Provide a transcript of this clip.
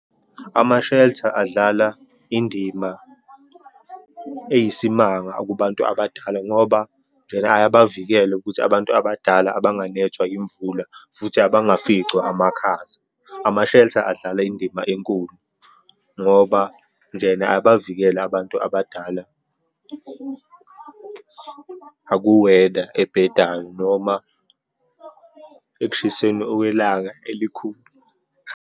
Ama-shelter adlala indima eyisimanga kubantu abadala ngoba vele ayabavikela ukuthi abantu abadala abanganethwa yimvula, futhi abangaficwa amakhaza. Ama-shelter adlala indima enkulu, ngoba njena ayabavikele abantu abadala aku-weather ebhedayo noma ekushiseni okwelanga elikhulu.